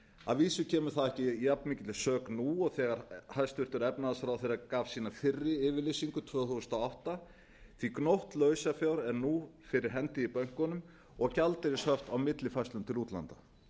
að vísu kemur það ekki að jafn mikilli sök nú og þegar hæst efnahagsráðherra gaf sína fyrri yfirlýsingu tvö þúsund og átta því gnótt lausafjár er nú fyrir hendi í bönkunum og gjaldeyrishöft á millifærslum til útlanda